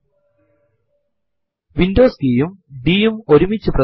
LS എന്നത് വളരെയധികം ഉപയോഗമുള്ള command ഉം പല options കളുള്ളതും ആണ്